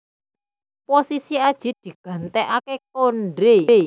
Posisi Adjie digantikaké Konde